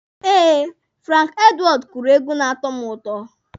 Eh, Franki Edwọọdụ kụrụ egwu na-atọ mụ ụtọ.